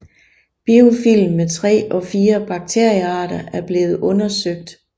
Biofilm med tre og fire bakteriearter er blevet undersøgt